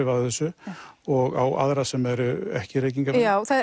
af þessu og á aðra sem eru ekki reykingarmenn já það